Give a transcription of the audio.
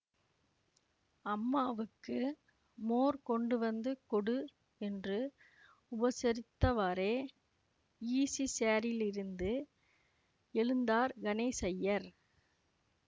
அம்மாவுக்கு மோர் கொண்டு வந்து கொடு என்று உபசரித்தவாறே ஈஸிசேரிலிருந்து எழுந்தார் கணேசய்யர்